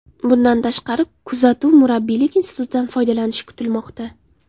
Bundan tashqari, kuzatuv/murabbiylik institutidan foydalanish kutilmoqda.